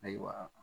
Ayiwa